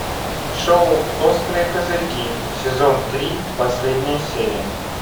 шоу острые козырьки сезон три последняя серия